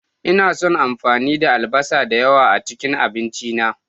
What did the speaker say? Ina son amfani da albasa da yawa a cikin abinci na.